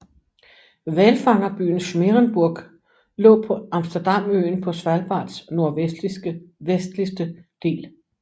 Hvalfangerbyen Smeerenburg lå på Amsterdamøen på Svalbards nordvestligste del